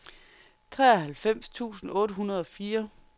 treoghalvfems tusind otte hundrede og fire